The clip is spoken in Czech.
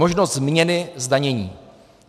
Možnost změny zdanění.